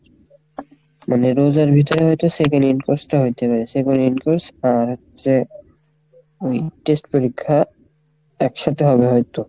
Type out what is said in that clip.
মানে রোজার ভিতরে হয়তো second in course টা হইতে পারে second in course আর যে ওই test পরীক্ষা একসাথে হবে হয়তো,